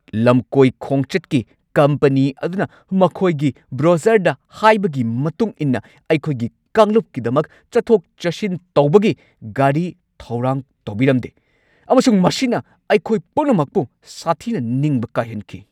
ꯂꯝꯀꯣꯏ ꯈꯣꯡꯆꯠꯀꯤ ꯀꯝꯄꯅꯤ ꯑꯗꯨꯅ ꯃꯈꯣꯏꯒꯤ ꯕ꯭ꯔꯣꯆꯔꯗ ꯍꯥꯏꯕꯒꯤ ꯃꯇꯨꯡ ꯏꯟꯅ ꯑꯩꯈꯣꯏꯒꯤ ꯀꯥꯡꯂꯨꯞꯀꯤꯗꯃꯛ ꯆꯠꯊꯣꯛ-ꯆꯠꯁꯤꯟ ꯇꯧꯕꯒꯤ ꯒꯥꯔꯤ ꯊꯧꯔꯥꯡ ꯇꯧꯕꯤꯔꯝꯗꯦ ꯑꯃꯁꯨꯡ ꯃꯁꯤꯅ ꯑꯩꯈꯣꯏ ꯄꯨꯝꯅꯃꯛꯄꯨ ꯁꯥꯊꯤꯅ ꯅꯤꯡꯕ ꯀꯥꯏꯍꯟꯈꯤ ꯫